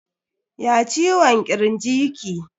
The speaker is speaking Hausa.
Ya ciwon kirji ki?